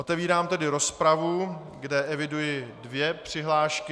Otevírám tedy rozpravu, kde eviduji dvě přihlášky.